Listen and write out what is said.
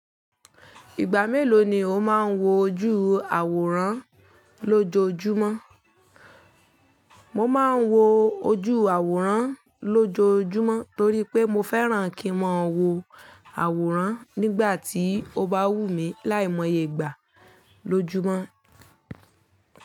Ìgbà mélòó ni o máa ń wo ojú àwòrán lójoojúmọ́? Mo máa ń wo ojú àwòrán lójoojúmọ́ torí pé mo fẹ́ràn kí mo wo àwòrán nígbà tí o bá wù mí láìmọye ìgbà lójúmọ́.